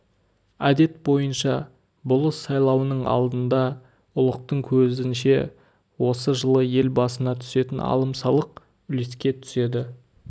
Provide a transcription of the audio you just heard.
әдет бойынша болыс сайлауының алдында ұлықтың көзінше осы жылы ел басына түсетін алым-салық үлеске түседі